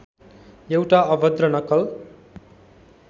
एउटा अभद्र नक्कल